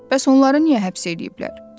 Bəs onları niyə həbs eləyiblər?